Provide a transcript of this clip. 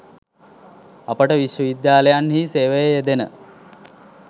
අපට විශ්වවිද්‍යාලයන්හි සේවයේ යෙදෙන